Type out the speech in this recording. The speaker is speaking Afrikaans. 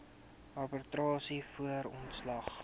arbitrasie voor ontslag